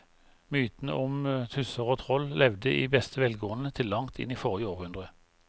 Mytene om tusser og troll levde i beste velgående til langt inn i forrige århundre.